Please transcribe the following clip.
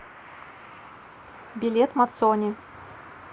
билет мацони